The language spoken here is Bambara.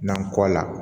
Nan kɔ la